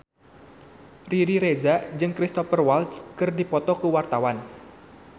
Riri Reza jeung Cristhoper Waltz keur dipoto ku wartawan